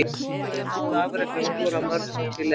Hvað hafið þið náð að afreka að skora mörg mörk í leik?